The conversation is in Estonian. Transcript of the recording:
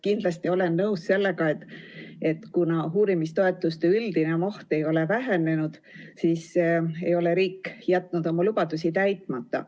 Kindlasti olen nõus sellega, et kuna uurimistoetuste üldine maht ei ole vähenenud, siis ei ole riik jätnud oma lubadusi täitmata.